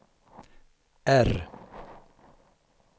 R